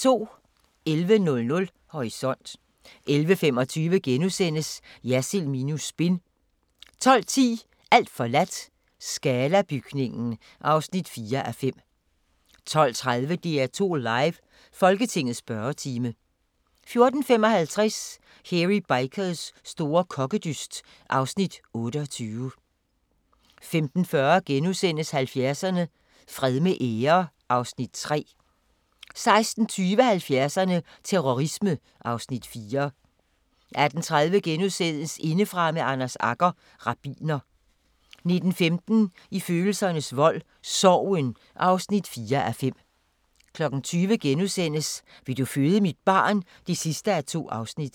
11:00: Horisont 11:25: Jersild minus spin * 12:10: Alt forladt – Scala-bygningen (4:5) 12:30: DR2 Live: Folketingets spørgetime 14:55: Hairy Bikers store kokkedyst (Afs. 28) 15:40: 70'erne: Fred med ære (Afs. 3)* 16:20: 70'erne: Terrorisme (Afs. 4) 18:30: Indefra med Anders Agger – rabbiner * 19:15: I følelsernes vold – Sorgen (4:5) 20:00: Vil du føde mit barn? (2:2)*